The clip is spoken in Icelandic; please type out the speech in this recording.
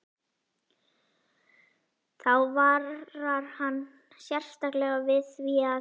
Þá varar hann sérstaklega við því, að